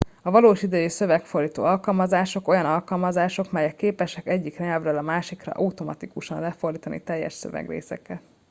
a valós idejű szövegfordító alkalmazások olyan alkalmazások melyek képesek egyik nyelvről a másikra automatikusan lefordítani teljes szövegrészeket